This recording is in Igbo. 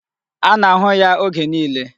A na-ahụ ya oge niile.